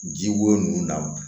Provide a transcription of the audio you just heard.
Ji wo na